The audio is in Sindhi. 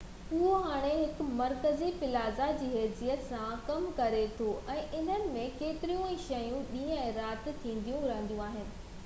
اهو هاڻي هڪ مرڪزي پلازه جي حيثيت سان ڪم ڪري ٿو ۽ ان ۾ ڪيتريون ئي شيون ڏينهن ۽ رات ٿينديون رهنديون آهن